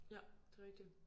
Ja det rigtigt